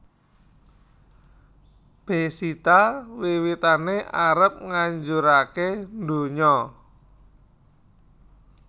Bezita wiwitané arep ngajurake ndonya